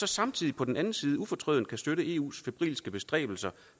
samtidig på den anden ufortrødent støtter eus febrilske bestræbelser